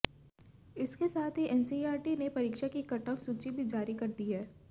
इसके साथ ही एनसीईआरटी ने परीक्षा की कट ऑफ सूची भी जारी कर दी है